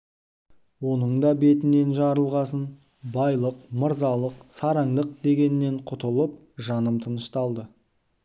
оның да бетінен жарылғасын байлық мырзалық сараңдық дегеннен құтылып жаным тынышталды